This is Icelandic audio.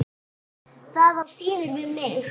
Það á síður við mig.